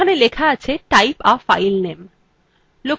location bar খুলে গেছে